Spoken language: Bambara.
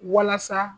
Walasa